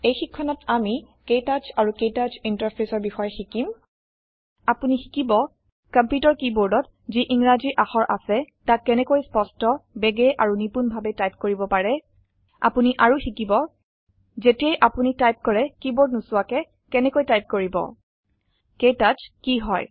এই শিক্ষণত আমি ক্তৌচ অৰু ক্তৌচ interfaceৰ বিশয়ে শিকিম আপুনি শিকিব কম্পিউটাৰ কিবৰ্দত জি ইংৰাজি আখৰ আসে তাক কেনেকৈ স্পস্ট বেগে আৰু নিপুন ভাবে টাইপ কৰিব পাৰে আপুনি আৰু শিকিব যেতিয়াই আপুনি টাইপ কৰে কিবৰ্দ নোচোৱাকে কেনেকৈ টাইপ কৰিব ক্তৌচ কি হয়